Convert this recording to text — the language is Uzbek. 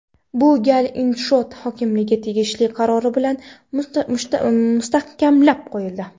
Bu gal inshoot hokimlikning tegishli qarori bilan mustahkamlab qo‘yildi.